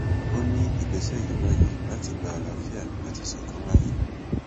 ó ní ìgbésẹ yìí wáyé láti lè gba àlàáfíà àti ìṣọkan láàyè